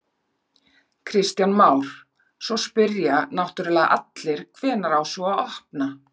Kristján Már: Svo spyrja náttúrulega allir, hvenær á svo að opna?